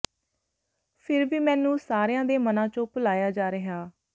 ਫਿਰ ਵੀ ਮੈਨੂੰ ਸਾਰਿਆ ਦੇ ਮਨਾਂ ਚੋ ਭੁਲਾਿੲਆ ਜਾ ਰਿਹਾ